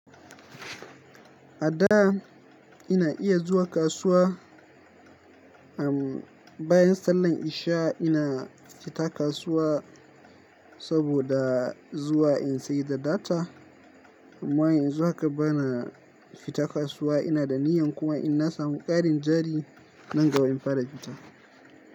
A da ina iya zuwa kasuwa, um bayan sallar isha ina fita kasuwa saboda zuwa in sai da data. Amma yanzu haka bana fita kasuwa. Ina da niyyar kuma in na samu ƙarin jari nan gaba in fara fita.